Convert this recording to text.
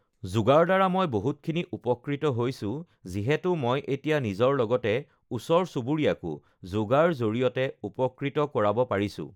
যোগাৰ দ্বাৰা মই বহুত খিনি উপকৃত হৈছোঁ যিহেতু মই এতিয়া নিজৰ লগতে ওচৰ-চুবুৰীয়াকো য়ৌগাৰ জৰিয়তে উপকৃত কৰাব পাৰিছোঁ